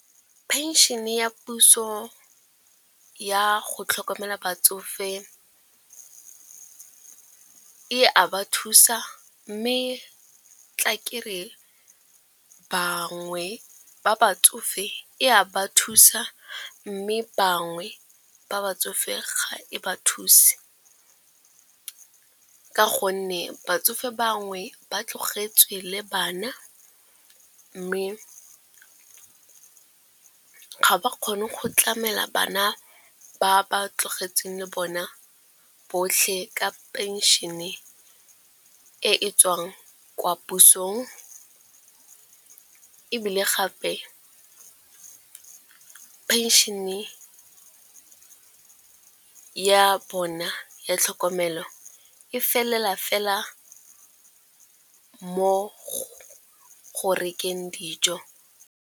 Phenšene ya puso ya go tlhokomela batsofe e a ba thusa mme tla ke re bangwe ba ba batsofe e a ba thusa mme bangwe ba batsofe ga e ba thuse. Ka gonne batsofe bangwe ba tlogetswe le bana mme ga ba kgone go tlamela bana ba ba tlogetsweng le bona botlhe ka phenšene e e tswang kwa pusong. Ebile gape phenšene ya bona ya tlhokomelo e felela fela mo go rekeng dijo.